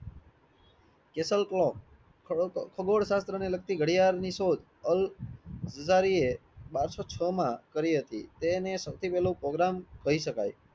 ખગોળ શાસ્ત્ર ને લગતી ગડિયાળ ની શોધ અલ બારસો છમાં કરી હતી તેને સૌથી પહેલો program કઈ શકાય